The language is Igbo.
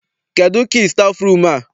Kedụ kii stafụrum a?